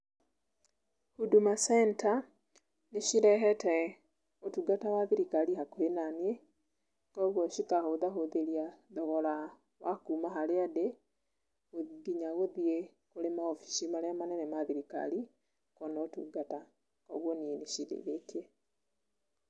Huduma Center nĩcirehete ũtungata wa thirikari hakuhĩ nanĩi koguo cikahũthahũthĩria thogora wa kuma harĩa ndĩ nginya gũthĩi kũrĩ mawabici marĩa manene ma thirikari kuona ũtungata koguo nĩi nĩ cindeithĩtie.